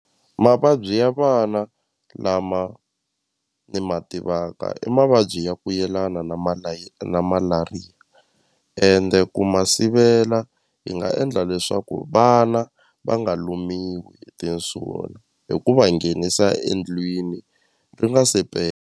Mavabyi ya vana lama ni ma tivaka i mavabyi ya ku yelana na na malariya ende ku ma sivela hi nga endla leswaku vana va nga lumiwi hi tinsuna hi ku va nghenisa endlwini ri nga se .